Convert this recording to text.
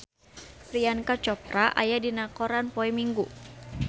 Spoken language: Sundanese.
Priyanka Chopra aya dina koran poe Minggon